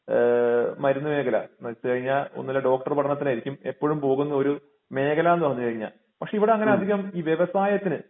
ഏഹ് മരുന്ന് മേഖല എന്ന് വച്ച് കഴിഞ്ഞാൽ ഒന്നുല്ലെങ്കി ഡോക്ടർ പഠനത്തിന് ആയിരിക്കും ഇപ്പോഴും പോകുന്ന ഒരു മേഖലാന്ന് പറഞ്ഞു കഴിഞ്ഞാൽ പക്ഷെ ഇവിടെ അങ്ങിനെ അധികം ഈ വ്യവസായത്തിന്